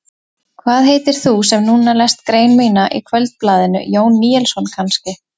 Hvað heitir þú sem núna lest grein mína í Kvöldblaðinu, Jón Níelsson kannski?